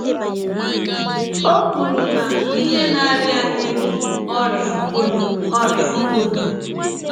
Ọ kwụrụ na ihe na - arịa anyị bụ ọrịa polio. ọrịa polio.